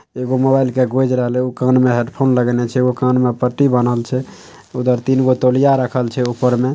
एगो मोबाइल के गोज रहल छै। उ कान में हेडफोन लगेनेय छै। एगो कान में पट्टी बन्हल छै। तीन गो तोलिया रखल छै ऊपर में।